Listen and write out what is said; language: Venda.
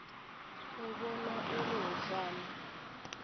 u vhona uri hu fana